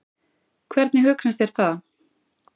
Hvernig hugnast þér það?